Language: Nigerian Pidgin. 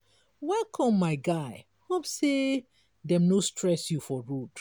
welcome my guy hope sey dem no stress you for road.